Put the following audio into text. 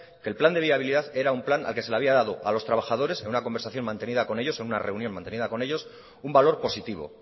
que el plan de viabilidad era un plan al que se le había dado a los trabajadores en una conversación mantenida con ellos en una reunión mantenida con ellos un valor positivo